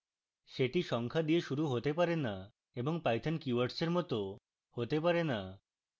সেটি সংখ্যা দিয়ে শুরু they পারে না এবং python keywords এর মত they পারে না